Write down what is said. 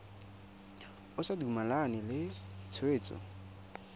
o sa dumalane le tshwetso